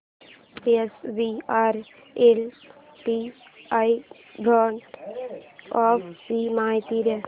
SBI equity hybrid fund ची माहिती दे